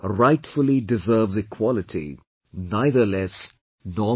Rightfully deserves equality neither less, nor more